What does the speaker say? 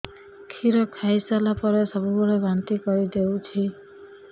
କ୍ଷୀର ଖାଇସାରିଲା ପରେ ସବୁବେଳେ ବାନ୍ତି କରିଦେଉଛି